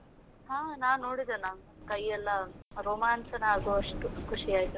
ಹಾ ನಾನು ನೋಡಿದೆನಾ, ಕೈ ಎಲ್ಲ ರೋಮಾಂಚನವಾಗುವಷ್ಟು ಖುಷಿ ಆಯ್ತು.